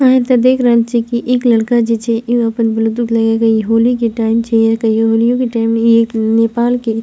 आहाँ ते देख रहल छीये की एक लड़का जे छै उ अपन ब्लूटूथ लगाके इ होली के टाइम छीये या कहियो होलियो के टाइम के इ एक नेपाल के --